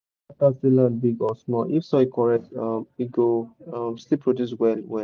e no matter say land big or small if soil correct um e go um still produce well well.